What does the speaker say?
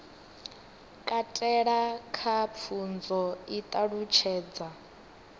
katela kha pfunzo i ṱalutshedza